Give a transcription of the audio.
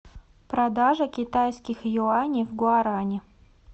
продажа китайских юаней в гуарани